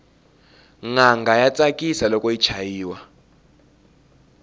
nanga ya tsakisa loko yi chayiwa